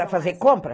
Para fazer compra?